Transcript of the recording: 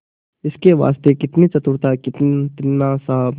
इसके वास्ते कितनी चतुरता कितना साहब